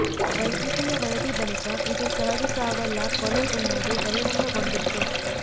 ವೈದ್ಯಕೀಯ ವರದಿ ಬಳಿಕ ಇದು ಸಹಜ ಸಾವಲ್ಲ ಕೊಲೆ ಎನ್ನುವುದು ಬಹಿರಂಗಗೊಂಡಿತ್ತು